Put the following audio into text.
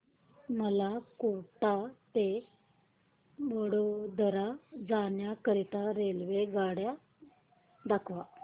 मला कोटा ते वडोदरा जाण्या करीता रेल्वेगाड्या दाखवा